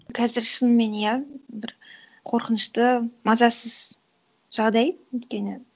қазір шынымен иә бір қорқынышты мазасыз жағдай өйткені